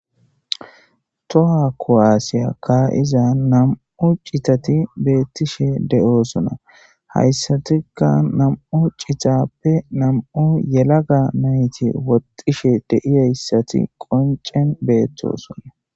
toha kowaasiya kaayiza nam7u citati beettishe de7oosona hayssatikka nam7u citappe nam7u yelaga nayti woxishe deiyayssati qoncen beettosona